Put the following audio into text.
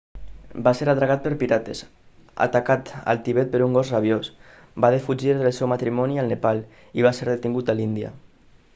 va ser atracat per pirates atacat al tibet per un gos rabiós va defugir del seu matrimoni al nepal i va ser detingut a l'índia